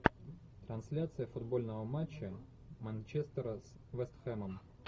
трансляция футбольного матча манчестера с вест хэмом